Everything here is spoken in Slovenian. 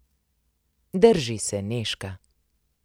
Drži se, Nežka.